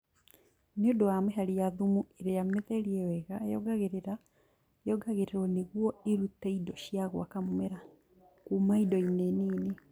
Nĩũndũ wa mĩhari ya thumu ĩrĩa mĩtheriewega yongagĩrĩrwo nĩguo ĩrute indo cia gwaka mũmera Kuma indo-inĩ Nini